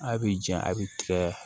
A b'i jɛn a bi tigɛ